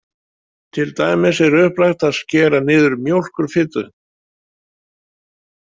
Til dæmis er upplagt að skera niður mjólkurfitu.